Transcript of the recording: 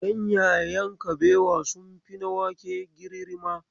Ganyayen kabewa sun fi na wake girirrima.